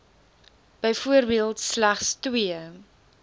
byvoorbeeld slegs twee